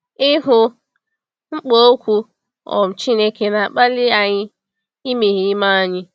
Ịhụ mkpa Okwu um Chineke na-akpali anyị imeghe ime anyị.